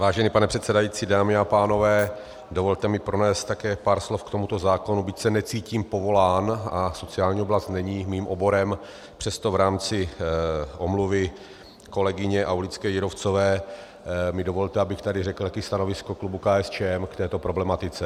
Vážený pane předsedající, dámy a pánové, dovolte mi pronést také pár slov k tomuto zákonu, byť se necítím povolán a sociální oblast není mým oborem, přesto v rámci omluvy kolegyně Aulické Jírovcové mi dovolte, abych tady řekl také stanovisko klubu KSČM k této problematice.